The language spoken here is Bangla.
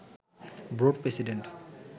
board president